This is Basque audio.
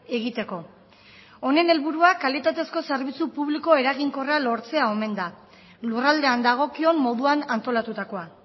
egiteko honen helburua kalitatezko zerbitzu publiko eraginkorra lortzea omen da lurraldean dagokion moduan antolatutakoa